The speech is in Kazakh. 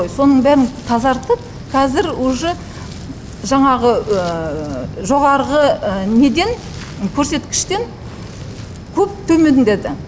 соның бәрін тазартып қазір уже жаңағы жоғарғы неден көрсеткіштен көп төмендеді